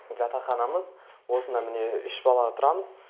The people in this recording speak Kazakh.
жатақханамыз осында міне үш бала тұрамыз